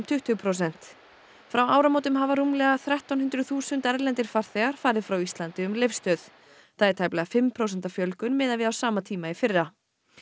tuttugu prósent frá áramótum hafa rúmlega þrettán hundruð þúsund erlendir farþegar farið frá Íslandi um Leifsstöð það er tæplega fimm prósenta fjölgun miðað við sama tíma í fyrra